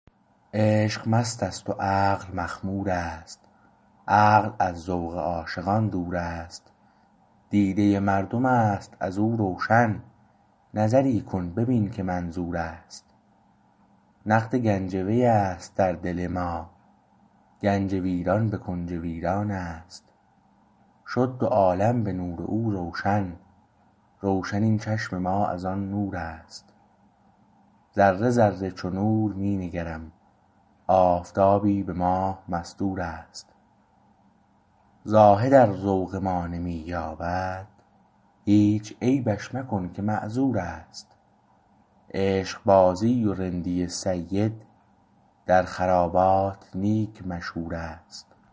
عشق مستت و عقل مخمور است عقل از ذوق عاشقان دور است دیده مردم است از او روشن نظری کن ببین که منظور است نقد گنج وی است در دل ما گنج ویران به کنج ویران است شد دو عالم به نور او روشن روشن این چشم ما از آن نور است ذره ذره چو نور می نگرم آفتابی به ماه مستور است زاهدار ذوق ما نمی یابد هیچ عیبش مکن که معذور است عشق بازی و رندی سید در خرابات نیک مشهور است